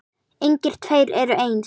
Engir tveir eru eins.